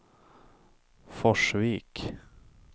Forsvik